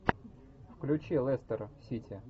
включи лестер сити